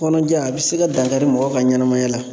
Kɔnɔja a be se ka dankari mɔgɔ ka ɲanamaya la.